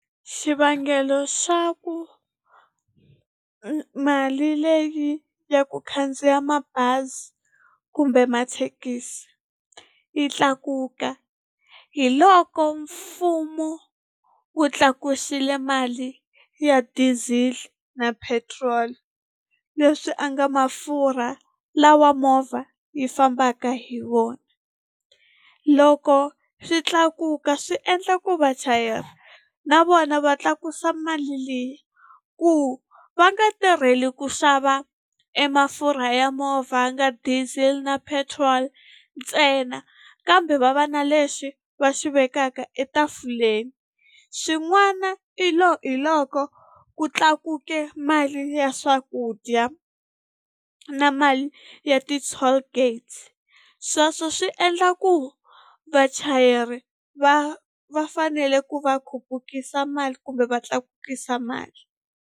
Xivangelo xa ku mali leyi ya ku khandziya mabazi kumbe mathekisi yi tlakuka hi loko mfumo wu tlakusile mali ya diesel na petrol leswi a nga mafurha lawa movha yi fambaka hi wona loko swi tlakuka swi endla ku vachayeri na vona va tlakusa mali leyi ku va nga tirheli ku xava e mafurha ya movha ya nga diesel na petrol ntsena kambe va va na lexi va xi vekaka etafuleni xin'wana i hi loko ku tlakuke mali ya swakudya na mali ya ti-tollgate sweswo swi endla ku vachayeri va va fanele ku va khupukisa mali kumbe va tlakukisa mali.